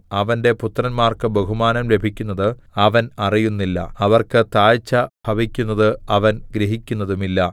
അവന്റെ പുത്രന്മാർക്ക് ബഹുമാനം ലഭിക്കുന്നത് അവൻ അറിയുന്നില്ല അവർക്ക് താഴ്ച ഭവിക്കുന്നത് അവൻ ഗ്രഹിക്കുന്നതുമില്ല